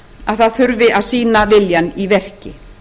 að það þurfi að sýna viljann í verki